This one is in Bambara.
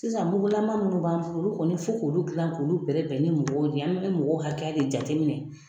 Sisan mugulama munnu b'an bolo ,olu kɔni fo k'olu jilan k'olu bɛrɛ bɛn ni mɔgɔw de ye. An be mɔgɔ hakɛ de jateminɛ